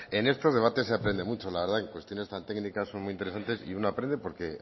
en estos debates se aprende mucho la verdad que cuestiones tan técnicas son muy interesante y uno aprende porque